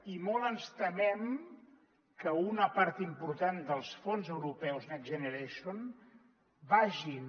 i molt ens temem que una part important dels fons europeus next generation vagin